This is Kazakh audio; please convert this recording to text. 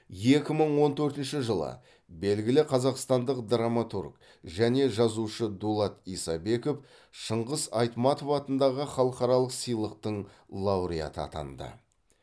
екі мың он төртінші жылы белгілі қазақстандық драматург және жазушы дулат исабеков шыңғыс айтматов атындағы халықаралық сыйлықтың лауреаты атанды